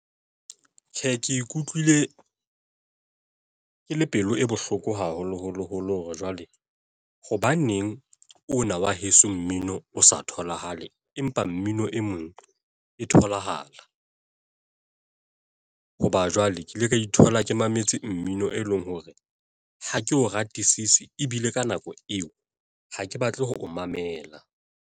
Tjhe, ke ikutlwile ke le pelo e bohloko haholoholo holo hore jwale hobaneng ona wa heso mmino o sa tholahale, empa mmino e meng e tholahala. Hoba jwale ke ile ka ithola ke mametse mmino e leng hore ha ke o ratisise ebile ka nako eo ha ke batle ho o mamela.